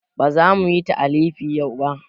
Ba za muyi talifi yau ba